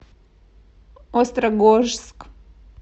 острогожск